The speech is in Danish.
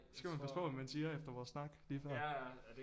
Skal man passe på hvad man siger efter vores snak lige før